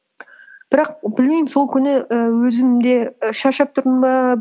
бірақ білмеймін сол күні і өзім де і шаршап тұрдым ба